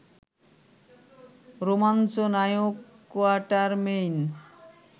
রোমাঞ্চ নায়ক কোয়াটারমেইন